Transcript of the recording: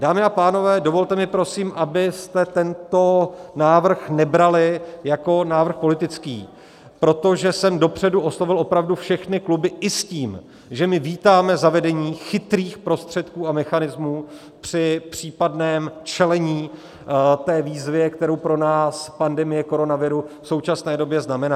Dámy a pánové, dovolte mi prosím, abyste tento návrh nebrali jako návrh politický, protože jsem dopředu oslovil opravdu všechny kluby i s tím, že my vítáme zavedení chytrých prostředků a mechanismů při případném čelení té výzvě, kterou pro nás pandemie koronaviru v současné době znamená.